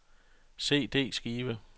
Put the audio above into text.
CD-skive